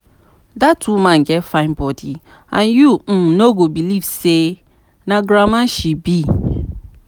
Dat woman get fine body and you um no go even believe say na grandma she be